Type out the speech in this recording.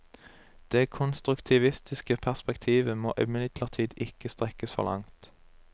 Det konstruktivistiske perspektivet må imidlertid ikke strekkes for langt.